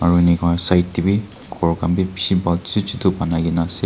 Aro enika hona side dae bhi ghor khan bhi beshi bhal chutu chutu banaikena ase.